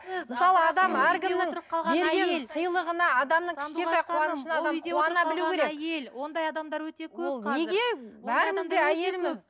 ондай адамдар өте көп қазір